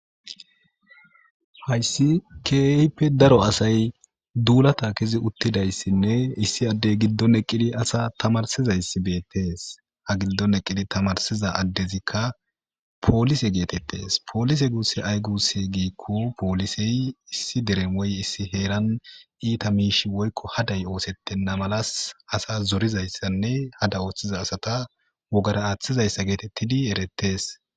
hayssi keehippe daro asay duulata kizi uttidayssinne issi addey giddon eqqidi asa tamarsizayssi beettees ha giddon eqqidi tamarsiza addezikka poolise geetettes poolise guusse ay gusse giikko poolisey issi deremoy issi heeran iita miishi woykko haday oosettenna malas asa zorizayssanne hada ooththiza asata wogara aaththizayssa geetettidi eretees